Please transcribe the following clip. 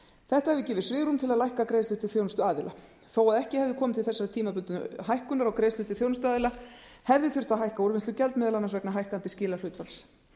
þetta hefur gefið svigrúm til að lækka greiðslu til þjónustuaðila þó að ekki hefði komið til þessarar tímabundnu hækkunar á greiðslum til þjónustuaðila hefði þurft að hækka úrvinnslugjald meðal annars vegna hækkandi skilahlutfalls